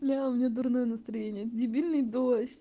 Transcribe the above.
бля у меня дурное настроение дебильный дождь